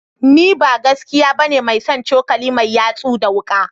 Ni ba gaskiya bane mai son cokali mai yatsu da wuka